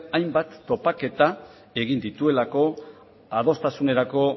hainbat topaketa egin dituelako adostasunerako